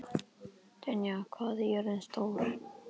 Tanya, hvað er jörðin stór?